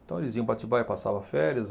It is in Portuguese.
Então, eles iam para Atibaia, passavam férias.